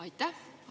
Aitäh!